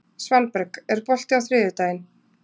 Svanberg, er bolti á þriðjudaginn?